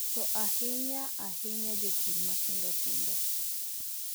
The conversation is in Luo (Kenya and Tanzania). To ahinya ahinya jopur matindotindo